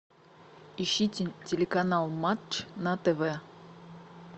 ищи телеканал матч на тв